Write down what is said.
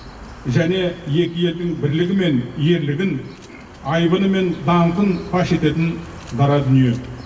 және екі елдің бірлігі мен ерлігін айбыны мен даңқын паш ететін дара дүние